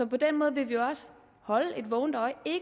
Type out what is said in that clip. på den måde vil vi holde et vågent øje ikke